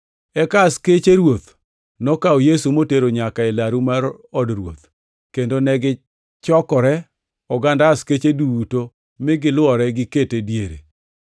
Eka askeche ruoth nokawo Yesu motero nyaka e laru mar od ruoth, kendo negichokore oganda askeche duto mi gilwore gikete diere.